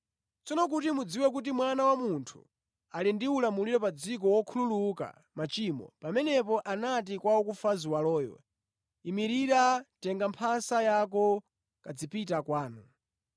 Tsono kuti mudziwe kuti Mwana wa Munthu ali ndi ulamuliro pa dziko wokhululuka machimo, pamenepo anati kwa wakufa ziwaloyo, ‘Imirira, tenga mphasa yako kazipita kwanu.’ ”